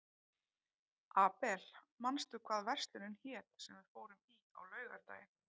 Abel, manstu hvað verslunin hét sem við fórum í á laugardaginn?